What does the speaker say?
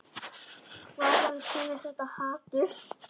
Hvaðan kemur þetta hatur?